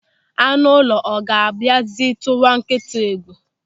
Anụ ụlọ, ọ ga-abịazi tụwa nkịta egwu?